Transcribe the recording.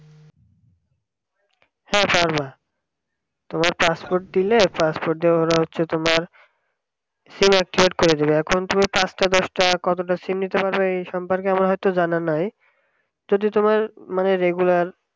হ্যাঁ পারবা তোমার passport দিলে passport দিয়ে ওরা হচ্ছে তোমার সিম activate করে দেবে এখন তুমি পাঁচটা দশটা কতটা সিম নিতে পারবে এই সম্পর্কে আমার অত জানা নাই কিন্তু তুমি মানে যেই কয়বার